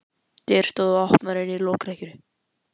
Dyr stóðu opnar inn í lokrekkju.